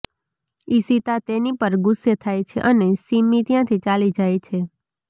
ઇશિતા તેની પર ગુસ્સે થાય છે અને સિમ્મી ત્યાંથી ચાલી જાય છે